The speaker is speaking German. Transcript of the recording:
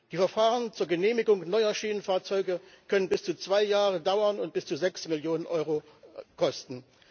Die Verfahren zur Genehmigung neuer Schienenfahrzeuge können bis zu zwei Jahre dauern und bis zu sechs Millionen Euro kosten.